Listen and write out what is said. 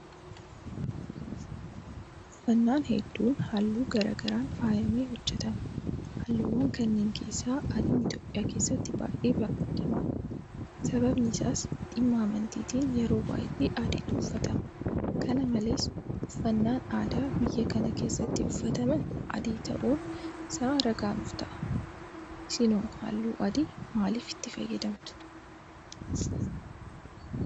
Uffannaan hedduun halluu garaa garaan faayamee hojjetama. Halluuwwan kanneen keessaa Adiin Itoophiyaa keessatti baay'ee barbaadamaadha. Sababni isaas dhimma amantiitiin yeroo baay'ee Adiitu uuffatama. Kana malees uffannaan aadaa biyya kana keessatti uffataman Adii ta'uun isaa ragaa nuufta'a. Isinoo halluu adii maaliif itti fayyadamtu?